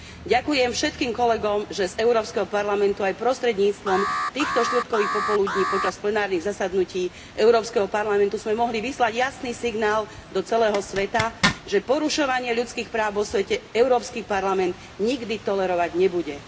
Ďakujem všetkým kolegom, že z Európskeho parlamentu aj prostredníctvom týchto štvrtkových popoludní počas plenárnych zasadnutí Európskeho parlamentu sme mohli vyslať jasný signál do celého sveta, že porušovanie ľudských práv vo svete Európsky parlament nikdy tolerovať nebude.